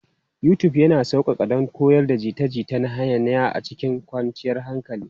YouTube yana sauƙaƙa don koyon jita-jita na nahiya a cikin kwanciyar hankali.